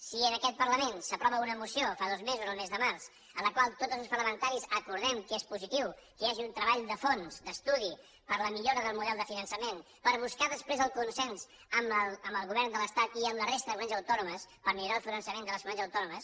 si en aquest parlament s’aprova una moció fa dos mesos el mes de març en la qual tots els grups parlamentaris acordem que és positiu que hi hagi un treball de fons d’estudi per a la millora del model de finançament per buscar després el consens amb el govern de l’estat i amb la resta de comunitats autònomes per millorar el finançament de les comunitats autònomes